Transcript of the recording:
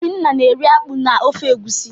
Obinna na-eri akpu na ofe egusi.